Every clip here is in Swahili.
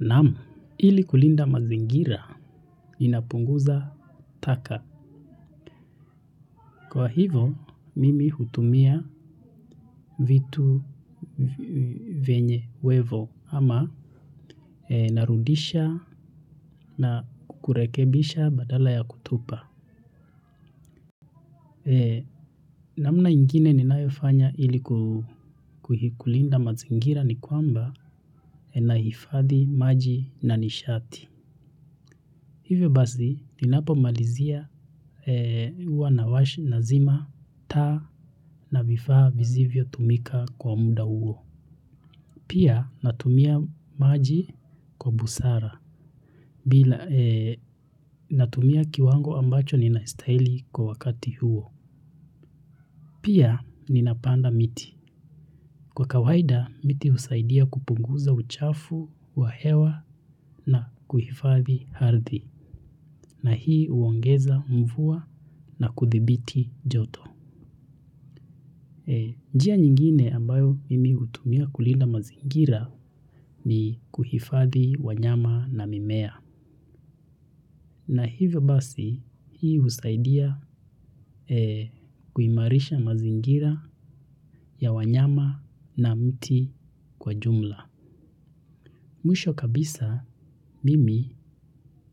Naam, ili kulinda mazingira inapunguza taka. Kwa hivo mimi hutumia vitu venye uwezo ama narudisha na kurekebisha badala ya kutupa. Namna ingine ninayo fanya ili kuikulinda mazingira ni kwamba nahifadhi maji na nishati. Hivyo basi ninapo malizia huwa nawasha na zima taa na vifaa vizivyo tumika kwa muda uo. Pia natumia maji kwa busara bila natumia kiwango ambacho ninacho stahili kwa wakati huo. Pia ninapanda miti. Kwa kawaida, miti husaidia kupunguza uchafu wa hewa na kuhifadhi ardhi. Na hii huongeza umvua na kuthibiti joto. Njia nyingine ambayo mimi hutumia kulinda mazingira ni kuhifadhi wanyama na mimea. Na hivyo basi hii husaidia kuimarisha mazingira ya wanyama na miti kwa jumla. Mwisho kabisa mimi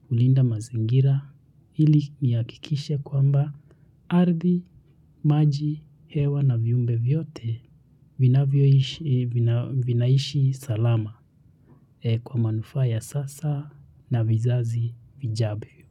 hulinda mazingira ili nihakikishe kwamba ardhi maji hewa na viumbe vyote vinaishi salama kwa manufaa ya sasa na vizazi vijavyo.